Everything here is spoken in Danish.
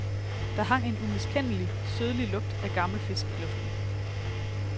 Der hang en umiskendelig, sødlig lugt af gammel fisk i luften.